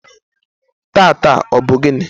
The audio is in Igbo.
taata, ọ bụ gịnị?